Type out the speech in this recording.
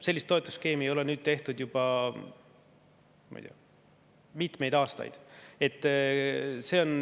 Sellist toetusskeemi ei ole nüüd tehtud juba, ma ei tea, mitmeid aastaid.